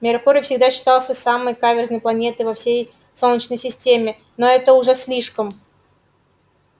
меркурий всегда считался самой каверзной планетой во всей солнечной системе но это уже слишком